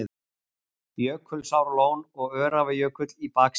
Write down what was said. Jökulsárlón og Öræfajökull í baksýn.